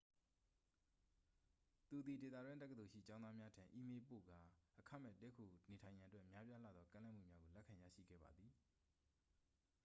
သူသည် ဒေသတွင်းတက္ကသိုလ်ရှိ ကျောင်းသားများထံ အီးမေးလ်ပေးပို့ခဲ့ကာ အခမဲ့တည်းခိုနေထိုင်ရန်အတွက် များပြားလှသော ကမ်းလှမ်းမှုများကို လက်ခံရရှိခဲ့ပါသည်